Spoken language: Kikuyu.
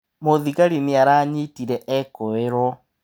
Mũthigari nĩ aranyitire ekũĩrwo.